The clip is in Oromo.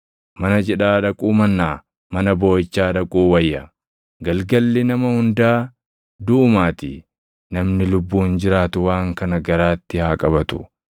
Mana cidhaa dhaquu mannaa mana booʼichaa dhaquu wayya; galgalli nama hundaa duʼumaatii; namni lubbuun jiraatu waan kana garaatti haa qabatu.